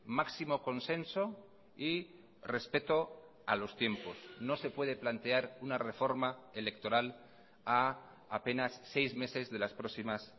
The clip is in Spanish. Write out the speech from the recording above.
máximo consenso y respeto a los tiempos no se puede plantear una reforma electoral a apenas seis meses de las próximas